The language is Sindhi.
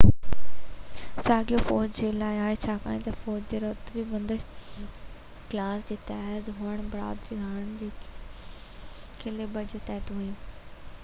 ساڳيو فوج جي لاءِ آهي ڇاڪاڻ تہ فوج جي رتبي بندي ڪلاس جي تحت هئڻ بدران هاڻي اهي ڪيلبر جي تحت هئيون